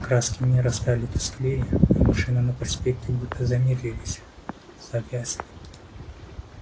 краски мира стали тусклее а машины на проспекте будто замедлились завязли